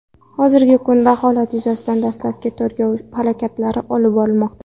Hozirgi kunda holat yuzasidan dastlabki tergov harakatlari olib borilmoqda.